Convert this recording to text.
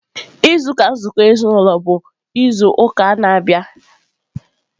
izu ụka nzụkọ ezinaụlọ bụ izu ụka na-abịa.